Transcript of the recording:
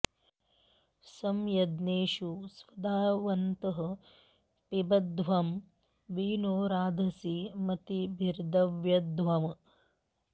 सं य॒ज्ञेषु॑ स्वधावन्तः पिबध्वं॒ वि नो॒ राधां॑सि म॒तिभि॑र्दयध्वम्